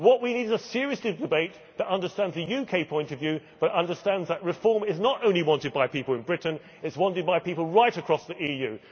What we need is a serious debate that understands the UK point of view but understands that reform is not only wanted by people in Britain, it is wanted by people right across the EU.